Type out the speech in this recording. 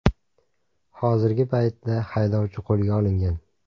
Hozirgi paytda haydovchi qo‘lga olingan.